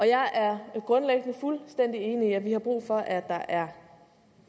jeg er grundlæggende fuldstændig enig i at vi har brug for at der er